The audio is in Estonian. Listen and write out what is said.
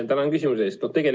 Tänan küsimuse eest!